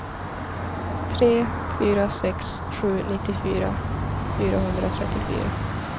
tre fyra sex sju nittiofyra fyrahundratrettiofyra